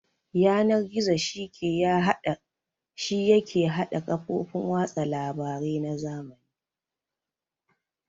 Yanar-gizo shi yake hada ƙafofin watsa labare na zamani